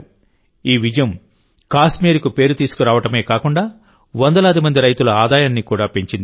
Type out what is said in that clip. ఈ విజయం కాశ్మీర్కు పేరు తీసుకురావడమే కాకుండా వందలాది మంది రైతుల ఆదాయాన్ని కూడా పెంచింది